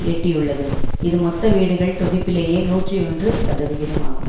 எட்டியுள்ளது இது மொத்த வீடுகள் தொகுப்பிலேயே நூற்றி ஒன்று சதவிகிதம் ஆகும்